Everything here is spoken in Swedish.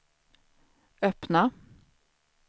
öppna